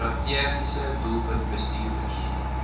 strategiese doelwit bestuurders